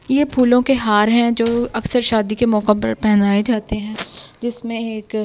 यह फूलों के हार हैं जो अक्सर शादी के मौका पर पहनाए जाते हैं जिसमें एक--